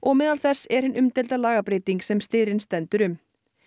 meðal þess er hin umdeilda lagabreyting sem styrinn sendur um